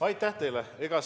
Aitäh teile!